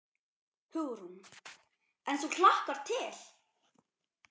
Hugrún: En þú hlakkar til?